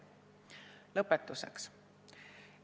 " Lõpetuseks.